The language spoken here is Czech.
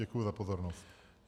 Děkuji za pozornost.